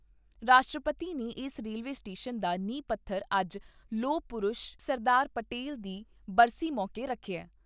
ਰਾਸ਼ਟਰਪਤੀ ਨੇ ਏਸ ਰੇਲਵੇ ਸਟੇਸ਼ਨ ਦਾ ਨੀਂਹ ਪੱਥਰ ਅੱਜ ਲੋਹ ਪੁਰਸ਼ ਸਰਦਾਰ ਪਟੇਲ ਦੀ ਬਰਸੀ ਮੌਕੇ ਰਖਿਐ।